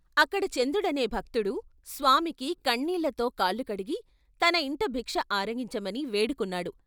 అక్కడ చందుడనే భక్తుడు స్వామికి కన్నీళ్ళతో కాళ్ళు కడిగి తన ఇంట భిక్ష ఆర గించమని వేడుకున్నాడు.